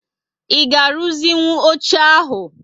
I ga aruzi nwụ óche ahu?